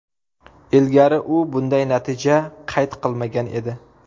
Ilgari u bunday natija qayd qilmagan edi.